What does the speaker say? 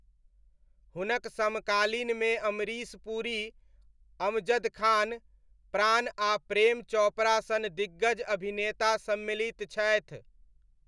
हुनक समकालीनमे अमरीश पुरी, अमजद खान, प्राण आ प्रेम चोपड़ा सन दिग्गज अभिनेता सम्मिलित छथि।